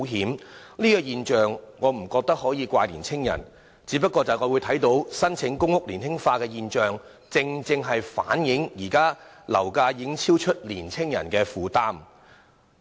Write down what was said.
我不認為可以把這種現象怪罪於青年人，但是我們看到申請公屋年輕化的現象，便正正反映出現時樓價已超出青年人的負擔能力。